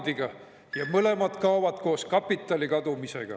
– A. P.] ja mõlemad kaovad koos kapitali kadumisega.